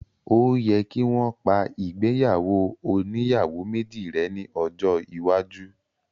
Óò yẹ kí wọ́n pa ìgbéyàwó oníyàwó méjì rẹ́ ní ọjọ́ iwájú